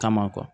Kama